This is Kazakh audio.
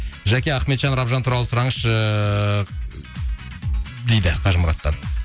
жәке ахметжан рабжан туралы сұраңызшы дейді қажымұраттан